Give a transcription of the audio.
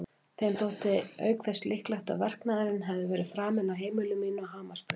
Þeim þótti auk þess líklegt að verknaðurinn hefði verið framinn á heimili mínu að Hamarsbraut.